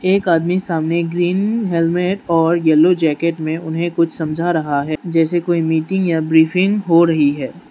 एक आदमी सामने ग्रीन हेलमेट और येलो जैकेट में उन्हें कुछ समझा रहा है जैसे कोई मीटिंग या ब्रीफिंग हो रही है।